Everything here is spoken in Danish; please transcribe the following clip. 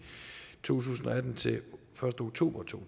tusind og atten til første oktober to